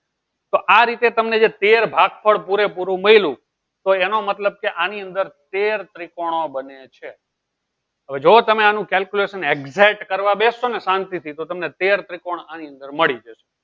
તો આ રીતે તમને જે તેર ભાગ ફળ પૂરેપૂરું મળ્યું તો એનો મતલબ કે આની અંદર તેર ત્રિકોણો બને છે હવે જો તમે આનું Calculation exact કરવા બેસો ને શાંતિથી તો તમને તેર ત્રિકોણ આની અંદર મળી છે